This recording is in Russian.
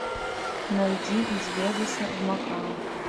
найди из вегаса в макао